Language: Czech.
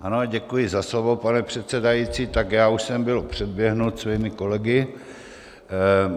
Ano, děkuji za slovo, pane předsedající, tak já už jsem byl předběhnut svými kolegy.